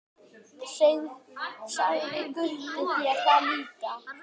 Sagði Gutti þér það líka?